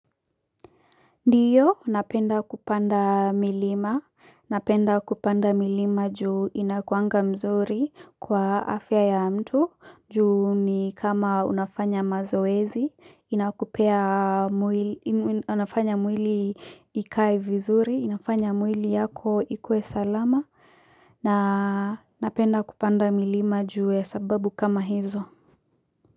Ndiyo, napenda kupanda milima, napenda kupanda milima juu inakuanga mzuri kwa afya ya mtu, juu ni kama unafanya mazoezi, inafanya mwili ikae vizuri, inafanya mwili yako ikuwe salama, na napenda kupanda milima juu ya sababu kama hizo.